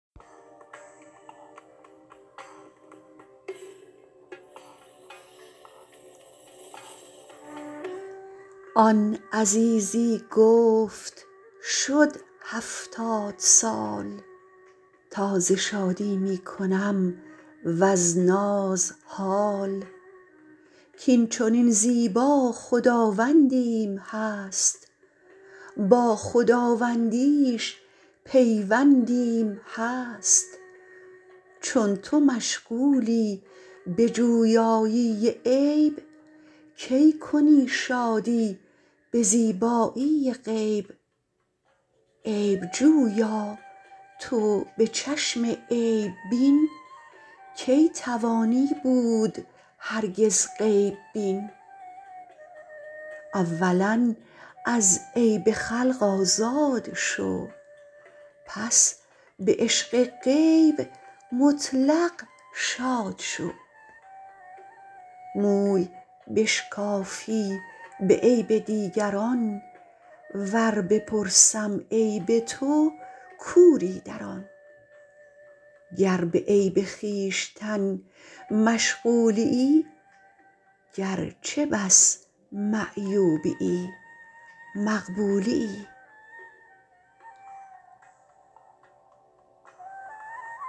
آن عزیزی گفت شد هفتاد سال تا ز شادی می کنم و از ناز حال کین چنین زیبا خداوندیم هست با خداوندیش پیوندیم هست چون تو مشغولی بجویایی عیب کی کنی شادی به زیبایی غیب عیب جویا تو به چشم عیب بین کی توانی بود هرگز غیب بین اولا از عیب خلق آزاد شو پس به عشق غیب مطلق شاد شو موی بشکافی به عیب دیگران ور بپرسم عیب تو کوری در آن گر به عیب خویشتن مشغولیی گرچه بس معیوبیی مقبولیی